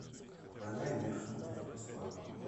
война и мир смотреть бесплатно